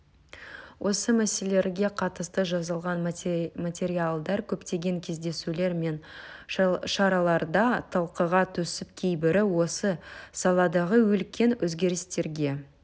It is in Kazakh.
осы мәселелерге қатысты жазылған материалдар көптеген кездесулер мен шараларда талқыға түсіп кейбірі осы саладағы үлкен өзгерістерге